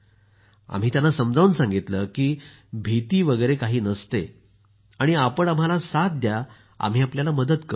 आम्ही त्याना समजावून सांगितलं की भीती वगैरे काही नसते आणि आपण आम्हाला साथ द्या आम्ही आपल्याला मदत करू